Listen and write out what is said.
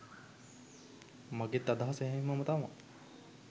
මගෙත් අදහස එහෙම්මම තමා.